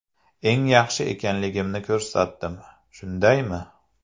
Eng yaxshi ekanligimni ko‘rsatdim, shundaymi?